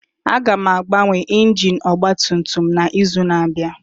Aga m agbanwe injin ọgba tum tum a n'izu na-abịa